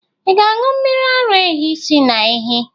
Ị ga-aṅụ mmiri ara ehi si na ehi?